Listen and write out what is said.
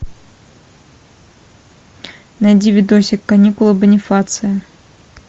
найди видосик каникулы бонифация